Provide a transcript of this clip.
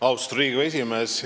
Austatud Riigikogu esimees!